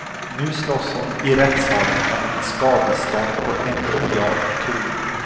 Nu slåss hon i rättssalen om ett skadestånd på en miljard kronor.